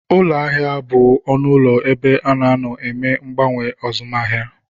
Ụlọahịa bụ ọnụụlọ ebe a na-anọ eme mgbanwe azụmahịa